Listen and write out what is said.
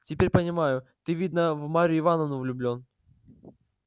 теперь понимаю ты видно в марью ивановну влюблён